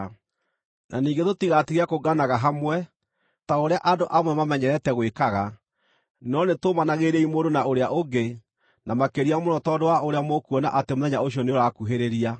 Na ningĩ tũtigatige kũnganaga hamwe, ta ũrĩa andũ amwe mamenyerete gwĩkaga, no nĩtũmanagĩrĩriei mũndũ na ũrĩa ũngĩ, na makĩria mũno tondũ wa ũrĩa mũkuona atĩ Mũthenya ũcio nĩũrakuhĩrĩria.